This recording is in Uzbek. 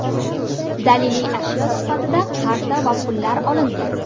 Daliliy ashyo sifatida qarta va pullar olindi.